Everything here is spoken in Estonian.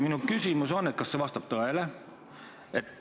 Minu küsimus on, kas see vastab tõele.